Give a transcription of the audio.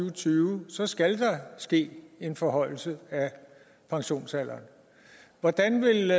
og tyve så skal der ske en forhøjelse af pensionsalderen hvordan vil